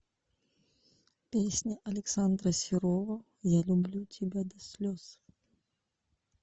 песня александра серова я люблю тебя до слез